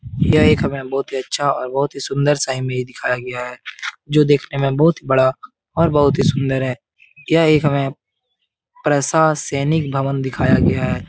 यह एक हमे बहुत ही अच्छा और बहुत ही सुन्दर सा इमेज दिखाया गया है जो देखने में बहुत ही बड़ा और बहुत ही सूंदर है यह एक हमें प्रशासनिक भवन दिखाया गया है ।